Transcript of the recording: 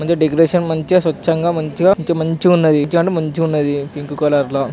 మంచిగా డెకరేషన్ మంచిగా స్వచంగ్గా ఉన్నది మంచిగా మంచి మంచిగా ఉన్నది పింక్ కలర్ లా.